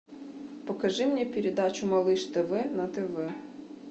покажи мне передачу малыш тв на тв